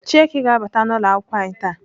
Chieke ga-abata n'ụlọakwụkwọ anyị taa.